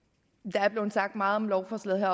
er blevet sagt meget om lovforslaget